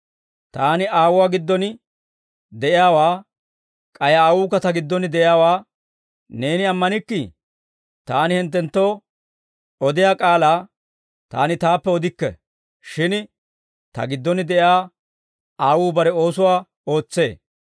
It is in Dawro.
Taani Aawuwaa giddon de'iyaawaa k'ay Aawukka Ta giddon de'iyaawaa neeni ammanikkii? Taani hinttenttoo odiyaa k'aalaa Taani Taappe odikke; shin Ta giddon de'iyaa Aawuu bare oosuwaa ootsee.